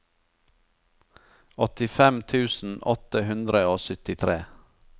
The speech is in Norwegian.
åttifem tusen åtte hundre og syttitre